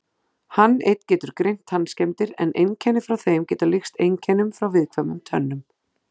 Hann einn getur greint tannskemmdir en einkenni frá þeim geta líkst einkennum frá viðkvæmum tönnum.